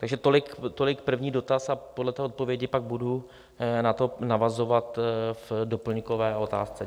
Takže tolik první dotaz a podle té odpovědi pak budu na to navazovat v doplňkové otázce.